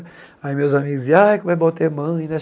Aí meus amigos diziam, ai, como é bom ter mãe, né?